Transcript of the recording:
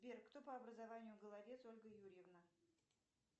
сбер кто по образованию головец ольга юрьевна